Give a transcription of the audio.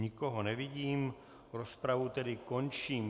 Nikoho nevidím, rozpravu tedy končím.